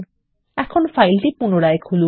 এখন ফাইলটি পুনরায় খুলুন